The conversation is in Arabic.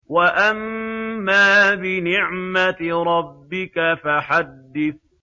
وَأَمَّا بِنِعْمَةِ رَبِّكَ فَحَدِّثْ